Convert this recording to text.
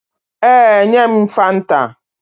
Ee, nye m fanta